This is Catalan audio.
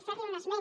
fer li un esment